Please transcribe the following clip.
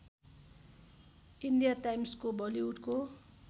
इन्डियाटाइम्सको बलिउडको